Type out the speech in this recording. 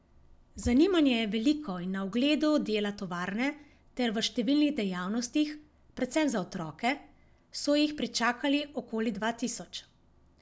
Zanimanje je veliko in na ogledu dela tovarne ter v številnih dejavnostih, predvsem za otroke, so jih pričakali okoli dva tisoč.